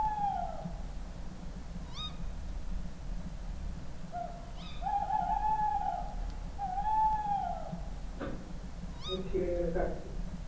যেনো কাটছি